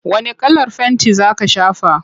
Wane kalar fenti za ka shafa?